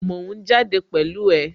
Mò ń jáde pẹ̀lú ẹ